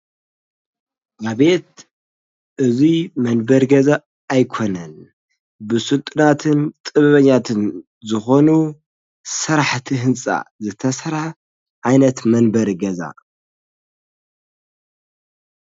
ኣቤት እዙይ መንበር ገዛ ኣይኮነን ብሱልጥናትን ጥበበኛትን ዝኾኑ ሠራሕእቲ ሕንፃ ዘተሠራ ዓይነት መንበር ገዛ።